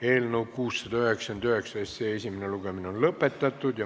Eelnõu 699 esimene lugemine on lõppenud.